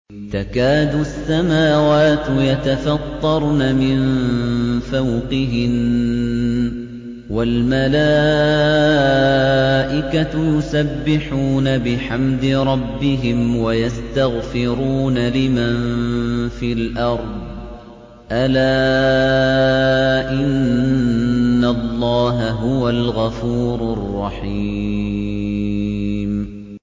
تَكَادُ السَّمَاوَاتُ يَتَفَطَّرْنَ مِن فَوْقِهِنَّ ۚ وَالْمَلَائِكَةُ يُسَبِّحُونَ بِحَمْدِ رَبِّهِمْ وَيَسْتَغْفِرُونَ لِمَن فِي الْأَرْضِ ۗ أَلَا إِنَّ اللَّهَ هُوَ الْغَفُورُ الرَّحِيمُ